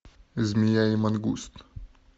змея и мангуст